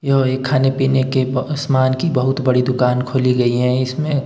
यह एक खाने पीने के ब स्मान की बहुत बड़ी दुकान खोली गई है इसमें--